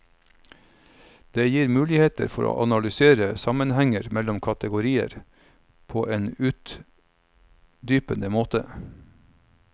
Det gir muligheter for å analysere sammenhenger mellom kategorier på en utdypende måte.